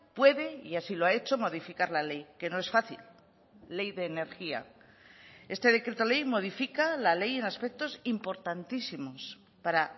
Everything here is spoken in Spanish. puede y así lo ha hecho modificar la ley que no es fácil ley de energía este decreto ley modifica la ley en aspectos importantísimos para